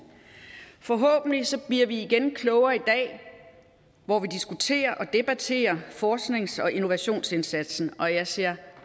forhåbentlig bliver vi igen klogere i dag hvor vi diskuterer og debatterer forsknings og innovationsindsatsen og jeg ser